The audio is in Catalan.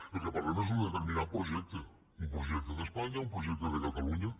del que parlem és d’un determinat projecte un projecte d’espanya un projecte de catalunya